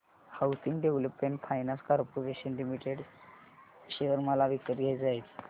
housing development finance corporation limited share मला विकत घ्यायचे आहेत